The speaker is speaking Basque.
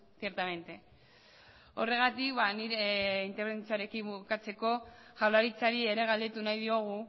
ciertamente horregatik nire interbentzioarekin bukatzeko jaurlaritzari ere galdetu nahi diogu